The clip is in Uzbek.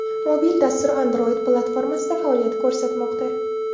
Mobil dastur Android platformasida faoliyat ko‘rsatmoqda.